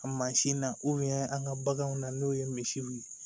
Mansin na an ka baganw na n'o ye misiw ye